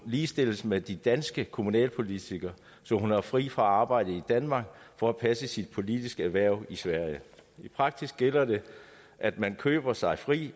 ligestilles med de danske kommunalpolitikere så hun har fri fra arbejde i danmark for at passe sit politiske hverv i sverige i praksis gælder det at man køber sig fri